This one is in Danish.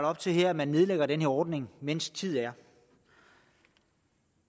op til at man nedlægger den her ordning mens tid er